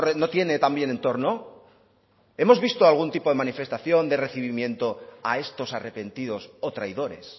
no tiene también entorno hemos visto algún tipo de manifestación de recibimiento a estos arrepentidos o traidores